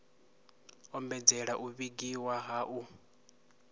ombedzela u vhigiwa ha u